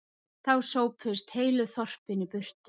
Þá sópuðust heilu þorpin í burtu